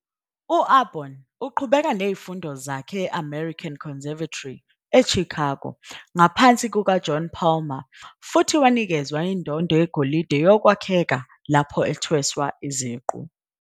U-Aborn uqhubeke nezifundo zakhe e- American Conservatory eChicago ngaphansi kukaJohn Palmer futhi wanikezwa indondo yegolide yokwakheka lapho ethweswa iziqu.